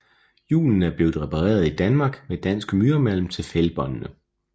Hjulene er blevet repareret i Danmark med dansk myremalm til fælgbåndene